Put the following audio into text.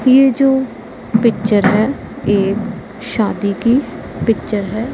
ये जो पिक्चर है ये शादी की पिक्चर है।